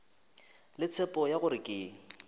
le tshepo ya gore ke